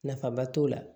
Nafaba t'o la